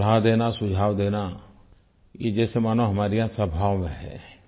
सलाह देना सुझाव देना ये जैसा मानो हमारे यहाँ स्वभाव में है